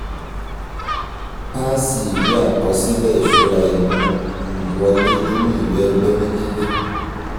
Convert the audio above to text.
páàsì ìwé àkọsílẹ̀ ìṣúra imú um wọlé nínú ìwé ẹgbẹ́ méjèèjì